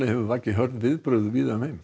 hefur vakið hörð viðbrögð víða um